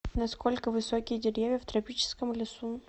насколько высокие деревья в тропическом лесу